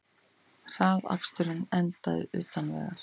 Hraðakstur endaði utan vegar